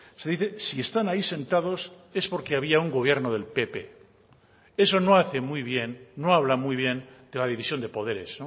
se dice si están ahí sentados es porque había un gobierno del pp eso no hace muy bien no habla muy bien de la división de poderes